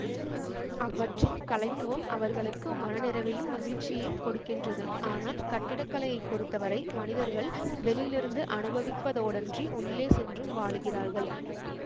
அவற்றின் கலைத்துவம் அவர்களுக்கு மனநிறைவையும் மகிழ்ச்சியையும் கொடுக்கின்றது ஆனால் கட்டிடக்கலையைப் பொறுத்தவரை மனிதர்கள் வெளியிலிருந்து அனுபவிப்பதோடன்றி உள்ளே சென்றும் வாழுகிறார்கள்